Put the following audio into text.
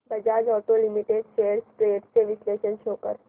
Bajaj auto limited shares trends चे विश्लेषण show कर